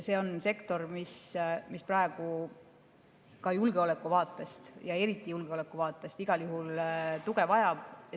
See on sektor, mis praegu ka julgeolekuvaatest ja eriti julgeolekuvaatest igal juhul tuge vajab.